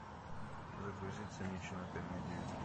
загрузи циничную комедию